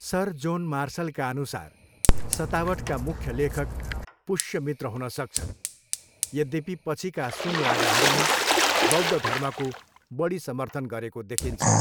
Sir John मार्सलका अनुसार, सतावटका मुख्य लेखक पुष्यमित्र हुन सक्छन्, यद्यपि पछिका सुङ्ग राजाहरूले बौद्ध धर्मको बढी समर्थन गरेको देखिन्छ।